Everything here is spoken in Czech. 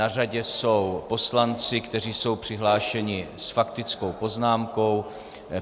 Na řadě jsou poslanci, kteří jsou přihlášeni s faktickou poznámkou.